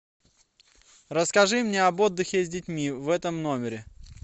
расскажи мне об отдыхе с детьми в этом номере